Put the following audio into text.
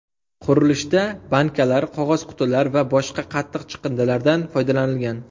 Qurilishda bankalar, qog‘oz qutilar va boshqa qattiq chiqindilardan foydalanilgan.